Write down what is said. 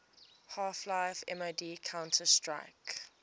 half life mod counter strike